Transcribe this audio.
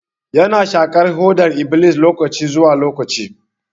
Ya na shaƙar hodar iblis lokaci zuwa lokaci.